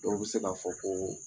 Dɔw bɛ se k'a fɔ ko